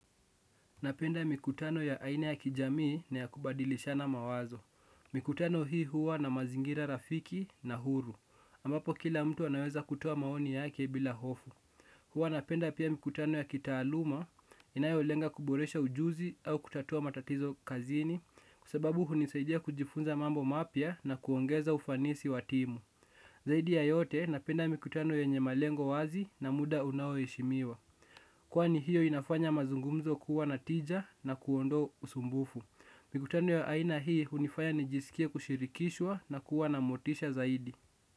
Napenda mikutano ya aina ya kijamii na ya kubadilishana mawazo. Mikutano hii huwa na mazingira rafiki na huru. Ambapo kila mtu anaweza kutoa maoni yake bila hofu. Huwa napenda pia mikutano ya kitaaluma inayolenga kuboresha ujuzi au kutatua matatizo kazini kwa sababu hunisaidia kujifunza mambo mapya na kuongeza ufanisi wa timu. Zaidi ya yote napenda mikutano yenye malengo wazi na muda unao heshimiwa. Kwani hiyo inafanya mazungumzo kuwa na tija na kuondoa usumbufu. Mikutano ya aina hii hunifanya nijisikie kushirikishwa na kuwa na motisha zaidi.